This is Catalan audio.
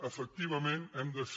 efectivament hem de ser